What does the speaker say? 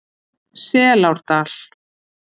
Selárdal